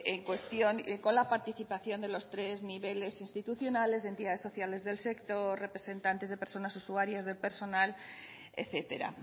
en cuestión y con la participación de los tres niveles institucionales de entidades sociales del sector representantes de personas usuarias de personal etcétera